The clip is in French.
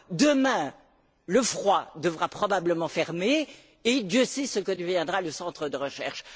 Demain, la phase à froid devra probablement fermer et Dieu sait ce que deviendra le centre de recherche.